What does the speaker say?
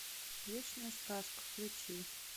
вечная сказка включи